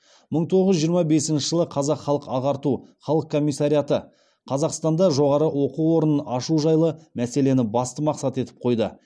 мың тоғыз жүз жиырма бесінші жылы қазақ халық ағарту халық комиссариаты қазақстанда жоғары оқу орнын ашу жайлы мәселені басты мақсат етіп қойды